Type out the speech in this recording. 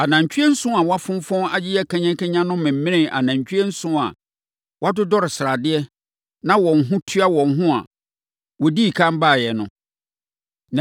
Anantwie nson a wɔafonfɔn ayeyɛ kanyakanya no memenee anantwie nson a wɔadodɔre sradeɛ na wɔn ho tua wɔn a wɔdii ɛkan baeɛ no!